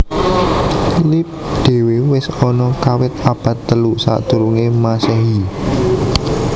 Lip dhewe wis ana kawit abad telu sadurunge mmasehi